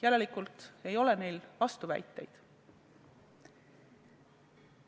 Järelikult ei ole neil vastuväiteid.